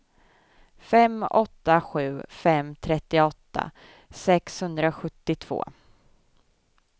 fem åtta sju fem trettioåtta sexhundrasjuttiotvå